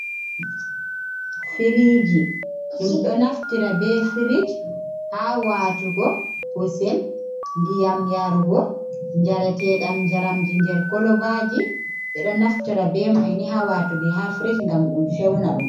Firiji. Ɗum ɗo naftira be firij ha watugo kusel, ndiyam yarugo njareteɗam, njaramji nder kolobaji. Ɓeɗo naftira be may ni ha watugo ha firij ngam ɗum fewna ɗum.